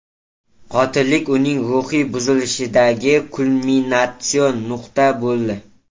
Qotillik uning ruhiy buzilishidagi kulminatsion nuqta bo‘ldi.